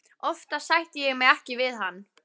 Oftast sætti ég mig ekki við hann.